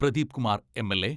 Pradeep Kumar MLA.